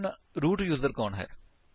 ਹੁਣ root user ਕੌਣ ਹੈ